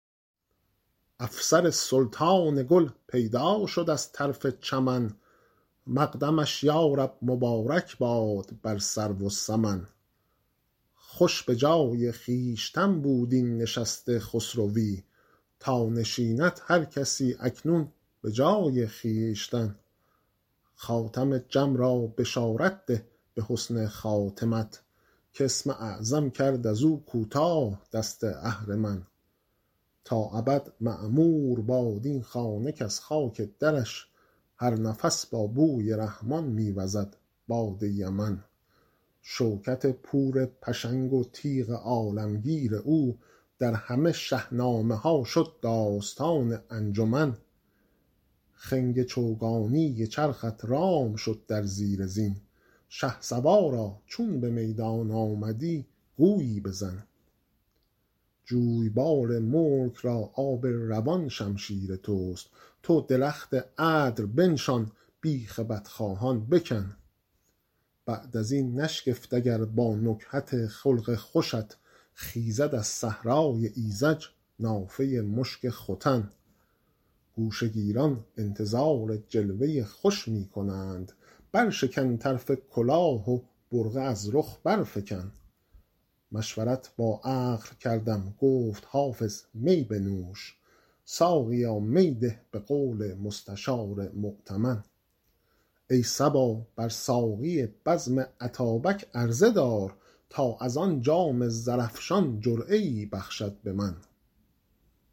افسر سلطان گل پیدا شد از طرف چمن مقدمش یا رب مبارک باد بر سرو و سمن خوش به جای خویشتن بود این نشست خسروی تا نشیند هر کسی اکنون به جای خویشتن خاتم جم را بشارت ده به حسن خاتمت کاسم اعظم کرد از او کوتاه دست اهرمن تا ابد معمور باد این خانه کز خاک درش هر نفس با بوی رحمان می وزد باد یمن شوکت پور پشنگ و تیغ عالمگیر او در همه شهنامه ها شد داستان انجمن خنگ چوگانی چرخت رام شد در زیر زین شهسوارا چون به میدان آمدی گویی بزن جویبار ملک را آب روان شمشیر توست تو درخت عدل بنشان بیخ بدخواهان بکن بعد از این نشگفت اگر با نکهت خلق خوشت خیزد از صحرای ایذج نافه مشک ختن گوشه گیران انتظار جلوه خوش می کنند برشکن طرف کلاه و برقع از رخ برفکن مشورت با عقل کردم گفت حافظ می بنوش ساقیا می ده به قول مستشار مؤتمن ای صبا بر ساقی بزم اتابک عرضه دار تا از آن جام زرافشان جرعه ای بخشد به من